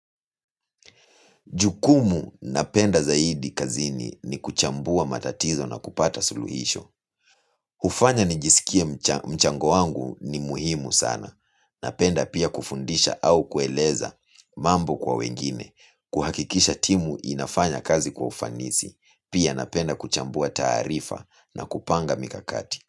Jukumu napenda zaidi kazini ni kuchambua matatizo na kupata suluhisho. Hufanya nijisikie mchango wangu ni muhimu sana. Napenda pia kufundisha au kueleza mambo kwa wengine. Kuhakikisha timu inafanya kazi kwa ufanisi. Pia napenda kuchambua taarifa na kupanga mikakati.